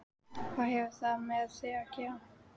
Hvað hefur það með mig að gera?